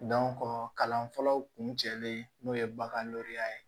kalan fɔlɔw kun cɛlen n'o ye bagan ye